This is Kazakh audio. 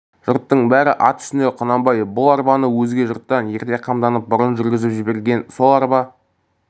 жұрттың бәрі ат үстінде құнанбай бұл арбаны өзге жұрттан ерте қамдатып бұрын жүргізіп жіберген сол арба